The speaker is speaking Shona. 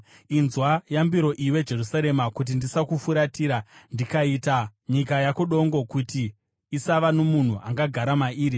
Inzwa yambiro, iwe Jerusarema, kuti ndisakufuratira ndikaita nyika yako dongo, kuti isava nomunhu angagara mairi.”